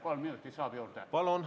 Kas kolm minutit saab juurde?